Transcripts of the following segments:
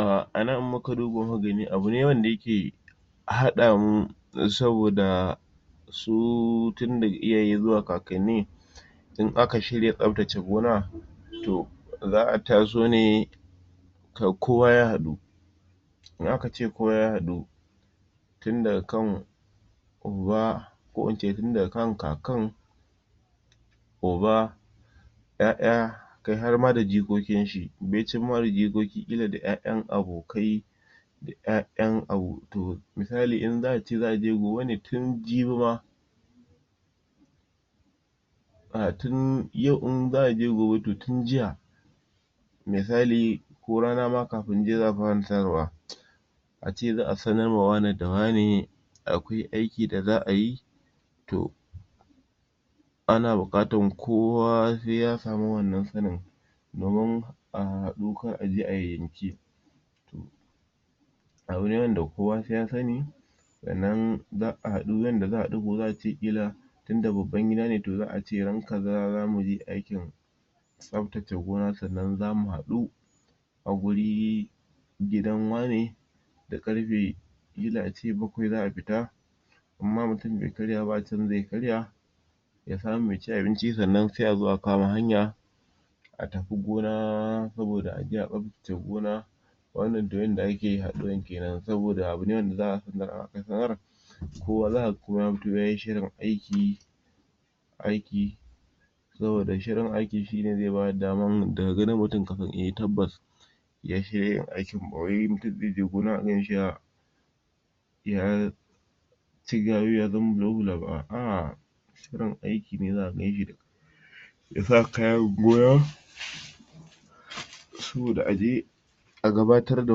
um anan in muka duba muka gani abu ne wanda yake haɗamu saboda su tin daga iyaye zuwa kakanni in aka shirya tsaftace gona to zaʼa taso ne k kowa ya haɗu in aka ce kowa ya haɗu tin daga kan uba ko ince tin daga kan kakan uba ƴaƴa kai har ma da jikokin shi baicin ma da jikoki ƙila da ƴaƴan abokai da ƴaƴan misali in za'a ce za'a je gobe ne tin jibi ma tin yau in za'a je gobe tin jiya misali ko rana ma kafin in dai za'a fara tarawa ace za'a sanar ma wane da wane akwai aiki da za'a yi to ana buƙatan kuwa se ya samu wannan sanin domin a hahhaɗu kar aje ai yanki abu ne wanda kowa se ya sani sannan za'a haɗu yanda za'a haɗu gobe za'a ce ƙila inda babban gida ne to za'a ce ran kaza zamu je aikin tsaftace gona sannan zamu haɗu a guri gidan wane da ƙarfe ƙili ace bakwai za'a fita in ma mutum be karya ba a can ze karya ya samu ya ci abinci sannan se azo a kama hanya a tafi gona saboda aje atsaftace gona wannan to yanda ake haɗuwa kenan saboda abune wanda zaka ga in aka sanar kowa zakaga koma ya fito yayi shirin aiki aiki saboda shirin aikin shine ze bada daman daga ganin mutum kasan eh tabbas ya shirya yin aikin bawai mutum zeje gona kaganshi ya ya ya ci gayu ya zauna ba a'ah shirin aiki ne zaka ganshi dashi yasa saboda aje a gabatar da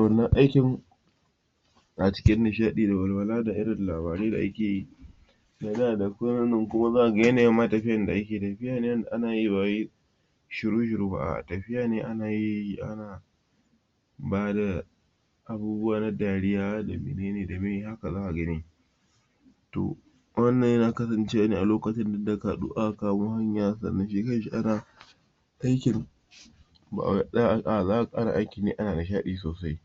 wannan aikin a cikin nishaɗi da walwala da irin labarai da ake yi kuma za kaga yanayin ma tafiyar da ake yi tafiya ne wanda ana yi ba wai shiru shiru ba tafiya ne ana yi ana bada abubuwa na dariya da menene da meye haka zaka gani to wannan yana kasan cewa ne a lokacin da aka haɗu aka kamo hanya sannan shi kanshi ana aikin ana aikin ne ana nishaɗi sosai